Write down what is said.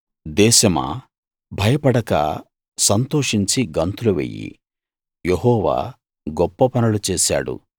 దేశమా భయపడక సంతోషించి గంతులు వెయ్యి యెహోవా గొప్ప పనులు చేశాడు